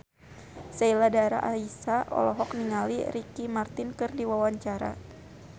Sheila Dara Aisha olohok ningali Ricky Martin keur diwawancara